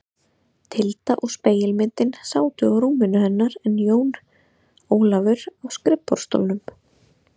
Tilda og spegilmyndin sátu á rúminu hennar en Jón Ólafur á skrifborðsstólnum.